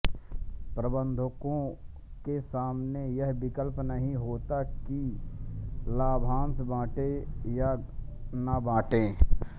प्रबन्धकों के सामने यह विकल्प नहीं होता है कि लाभांश बांटे या न बांटे